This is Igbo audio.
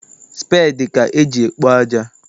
Speedi ka eji ekpo aja.